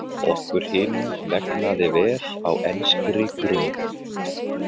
Okkur hinum vegnaði vel á enskri grund.